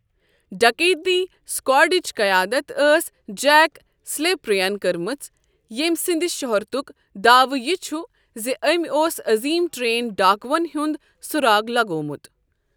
ڈکیتی سکواڈٕچ قیادت ٲس جیک سلیپر یَن کٔرمٕژ، ییٚمۍ سٕنٛدِ شہرتُک داوٕ یہِ چھُ زِ أمۍ اوس عظیم ٹرین ڈاکووَن ہُنٛد سراغ لگومُت۔